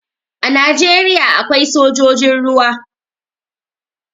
A Najeriya akwai sojojin ruwa.